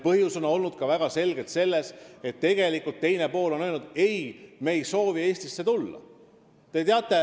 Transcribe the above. Põhjus on väga selgelt olnud ka selles, et tegelikult on teine pool öelnud: "Ei, me ei soovi Eestisse tulla.